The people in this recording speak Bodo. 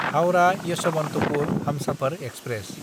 हाउरा–येसभान्तपुर हमसाफार एक्सप्रेस